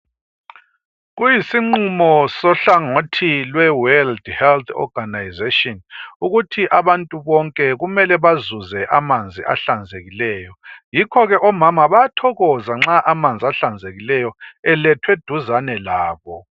Kuyisinqumo senhlangothi lweWorld Health Organization ukuthi abantu bonke kumele bazuze amanzi ahlanzekileyo. Yikho ke omama bayathokoza nxa amanzi ahlanzekileyo elethwe eduzane labo.